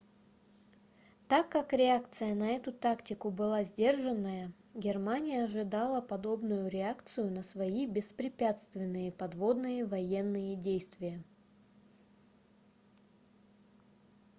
так как реакция на эту тактику была сдержанная германия ожидала подобную реакцию на свои беспрепятственные подводные военные действия